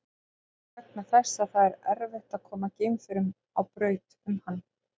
Það er vegna þess að erfitt er að koma geimförum á braut um hann.